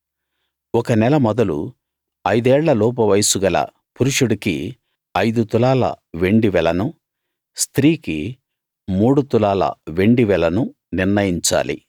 ఒక నెల మొదలు ఐదేళ్ళ లోపు వయస్సుగల పురుషుడికి ఐదు తులాల వెండి వెలను స్త్రీకి మూడు తులాల వెండి వెలను నిర్ణయించాలి